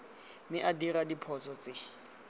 mme a dira diphoso tse